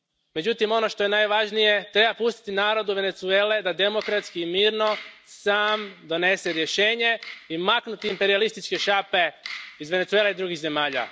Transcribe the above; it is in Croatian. Međutim, ono što je najvažnije, treba pustiti narodu Venezuele da demokratski i mirno sam donese rješenje i maknuti imperijalističke šape iz Venezuele i drugih zemalja.